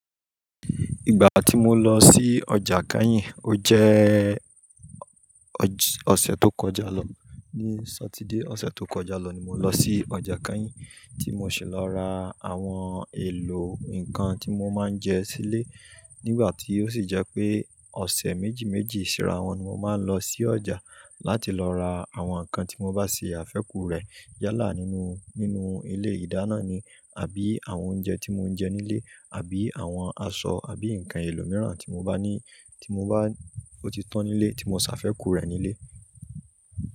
Ìgbà tí mo lọ sí ọjà Kenyìn, ó jẹ́ ọ̀sẹ̀ tó kọjá lọ. Ni Sátidé ọ̀sẹ̀ tó kọjá lọ ni mo lọ sí ọjà Kányìn, tí mo sì lọ ra àwọn èlò nǹkan tí mo máa ń jẹ sílé. Nígbà tí ó sì jẹ́ pé ọ̀sẹ̀ méjì méjì síra wọn ni mo máa ń lọ sí ọjà láti lọ ra àwọn nǹkan tí mo bá ṣe àfẹ́ku rẹ̀ yálà nínú, nínú ilé ìdáná ni àbí àwọn oúnjẹ tí mo ń jẹ nílé àbí àwọn aṣọ àbí nǹkan ẹlòmíràn tí mo bá ní, tí mo bá ó ti tán nílé tí mo ṣàfẹ́ku rẹ̀ nílé.